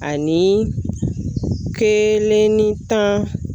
Ani kelenni tan